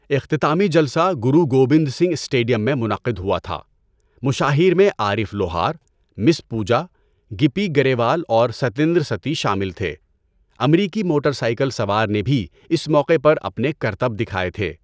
اختتامی جلسہ گرو گوبند سنگھ اسٹیڈیم میں منعقد ہوا تھا۔ مشاہیر میں عارف لوہار، مس پوجا، گِپی گریوال اور ستیندر ستی شامل تھے۔ امریکی موٹر سائیکل سوار نے بھی اس موقع پر اپنے کرتب دکھائے تھے۔